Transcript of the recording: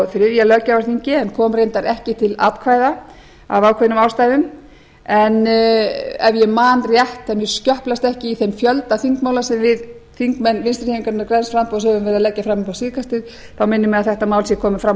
þriðja þingi en kom reyndar ekki til atkvæða af ákveðnum ástæðum en ef ég man rétt ef mér skjöplast ekki í þeim fjölda þingmála sem við þingmenn vinstri hreyfingarinnar græns framboðs höfum verið að leggja fram upp á síðkastið minnir mig að þetta mál sé komið fram á